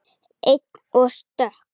Ein og stök.